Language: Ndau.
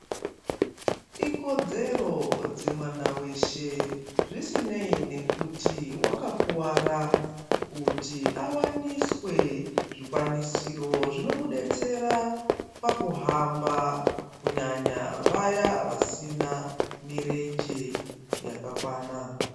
Ikodzero dzemwana weshe, zvisineyi nekuti wakakuwara, kuti awaniswe zvikwanisiro zvinomudetsera pakuhamba, kunyanya vaya vasina mirenje yakakwana .